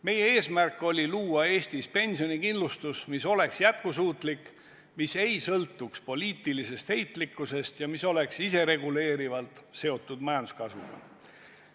Meie eesmärk oli luua Eestis pensionikindlustus, mis oleks jätkusuutlik, mis ei sõltuks poliitilisest heitlikkusest ja mis oleks isereguleerivalt seotud majanduskasvuga.